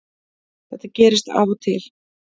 Þetta gerist af og til